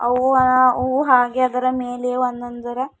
ಹೂ ಹಾಗೆ ಅದರ ಮೇಲೆ ಒಂದೊಂದರ--